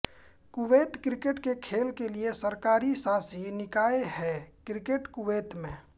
Kuwait cricket के खेल के लिए सरकारी शासी निकाय है क्रिकेट कुवैत में